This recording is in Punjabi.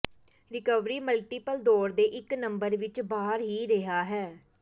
ਰਿਕਵਰੀ ਮਲਟੀਪਲ ਦੌਰੇ ਦੇ ਇੱਕ ਨੰਬਰ ਵਿੱਚ ਬਾਹਰ ਹੀ ਰਿਹਾ ਹੈ